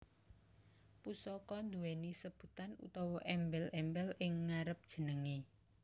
Pusaka duwéni sebutan utawa èmbèl èmbèl ing ngarep jenengè